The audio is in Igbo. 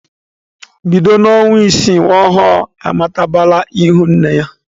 Bido n'ọnwa isii nwa ọhụrụ amatabala ihu nne ya.